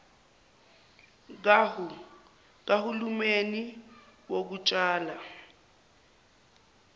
kahu lumeni wokutshala